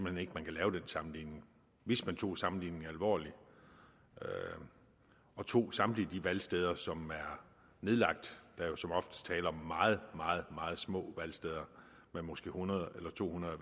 hen ikke at man kan lave den sammenligning hvis man tog sammenligningen alvorligt og tog samtlige de valgsteder som er nedlagt der er jo som oftest tale om meget meget meget små valgsteder med måske hundrede eller to hundrede